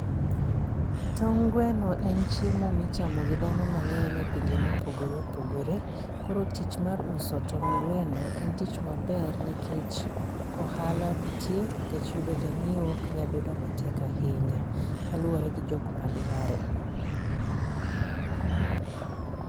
Tong' gweno en chiemo ma ichamo gi dhano mangény e pinje mopogore opogore. Koro tich ma uso tong' gweno en tich maber nikech ohala nitie. Nikech yudo janyiewo ok en tich matek ahinya kaluwore gi jok madware.